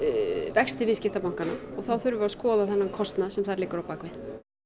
vexti viðskiptabankanna og þá þurfum við að skoða þennan kostnað sem þar liggur á bak við